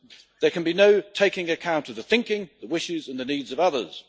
There can be no taking account of the thinking, the wishes or the needs of others.